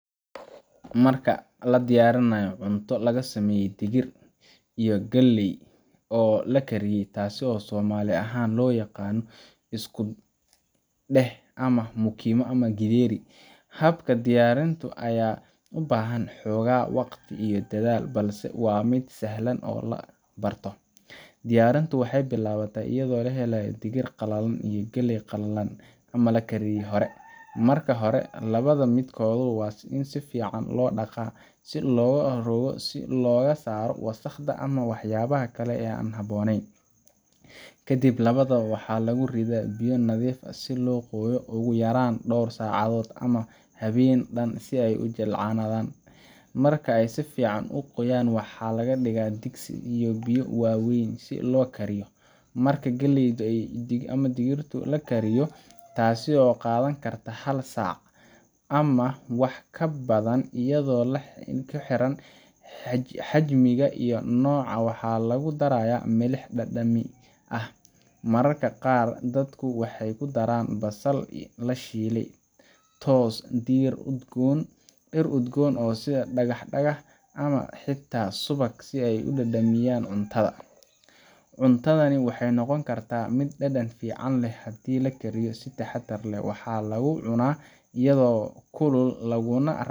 Marka la diyarinayo cunta laga sameye digir iyo galey oo lakariye taso somali ahan lo yaqano iskudeh ama gidheri habka diyarinta aya ubahan dadhal iyo xoga waqti balse waa miid sahlan diyarintu waxee bilawate iyada oo lahelayo digir qalalan ama la kariye marka lawadha miid kodhu waa In sifican lo daqo si loga saro wasaqda, waxaa lagu daraya milix dadan leh mararka qaar dadku waxee kudaran basal iyo mashmash, cuntadan waxee noqon kartaa miid dadan leh.